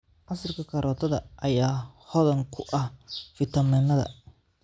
Casiirka karootada ayaa hodan ku ah fiitamiinnada.